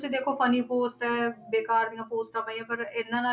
ਤੁਸੀਂ ਦੇਖੋ ਫਨੀ ਪੋਸਟਾਂ ਹੈ ਬੇਕਾਰ ਦੀਆਂ ਪੋਸਟਾਂ ਪਾਈਆਂ ਪਰ ਇਹਨਾਂ ਨਾਲ